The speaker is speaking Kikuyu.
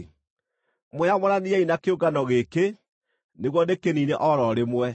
“Mwĩyamũraniei na kĩũngano gĩkĩ nĩguo ndĩkĩniine o ro rĩmwe.”